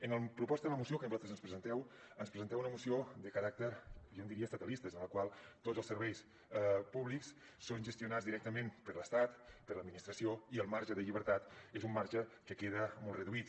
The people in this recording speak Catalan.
en la proposta de la moció que vosaltres ens presenteu ens presenteu una moció de caràcter jo en diria estatalista en la qual tots els serveis públics són gestionats directament per l’estat per l’administració i el marge de llibertat és un marge que queda molt reduït